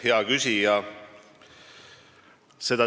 Hea küsija!